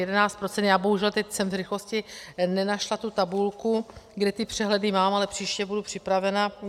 Já bohužel teď jsem v rychlosti nenašla tu tabulku, kde ty přehledy mám, ale příště budu připravena.